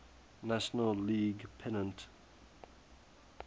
national league pennant